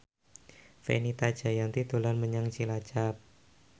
Fenita Jayanti dolan menyang Cilacap